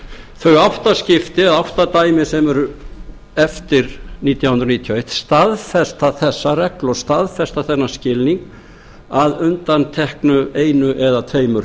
þau átta skipti eða átta dæmi sem eru eftir nítján hundruð níutíu og eitt staðfesta þessa reglu og staðfesta þennan skilning að undanteknu einu eða tveimur